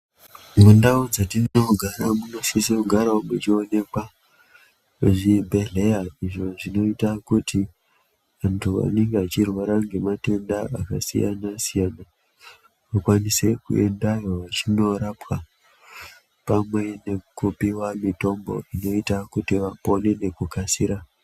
Mundau dzatinoponera munosiso kugarawo muchionekwa zvibhehleya izvo zvinoita kuti antu anenge achirwara ngematenda akasiyana-siyana akwanise kuendayo vachinorapwa pamwe nekupiwa mitombo inoita kiti vapone nekukasira.